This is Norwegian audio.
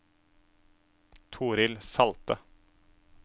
Torhild Salte